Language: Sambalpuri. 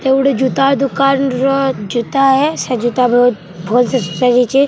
ଇଟା ଗୁଟେ ଜୁତା ଦୁକାନ୍‌ ର ଜୁତା ଏ ସେ ଜୁତା ବହୁତ ଭଲ୍‌ ସେ ସଜା ଯାଇଛେ --